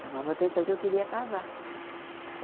Chamava a atenção que eu queria casar.